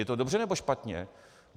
Je to dobře, nebo špatně?